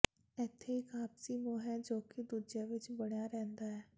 ਇਥੇ ਇਕ ਆਪਸੀ ਮੋਹ ਹੈ ਜੋ ਕਿ ਦੂਜੇ ਵਿਚ ਬਣਿਆ ਰਹਿੰਦਾ ਹੈ